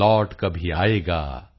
lot ਕਭੀ ਆਏਗਾ